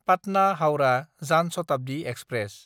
पाटना–हाउरा जान शताब्दि एक्सप्रेस